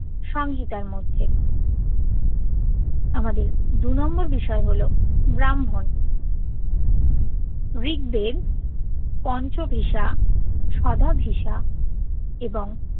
সংহিতার মধ্যে আমাদের দু নম্বর বিষয় হল ব্রাহ্মণ ঋগবেদ পঞ্চ ভিসা সদা ভিসা এবং